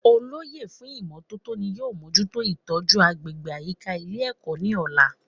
Olóyè fún ìmótótó ni yóò mójútó ìtójú agbègbè àyíká Ilé èkó ní òla